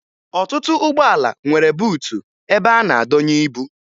Ọtụtụ ụgbọala nwere buutu ebe a na-adọnye ibu